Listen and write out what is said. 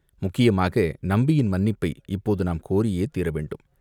முக்கியமாக நம்பியின் மன்னிப்பை இப்போது நாம் கோரியே தீரவேண்டும்.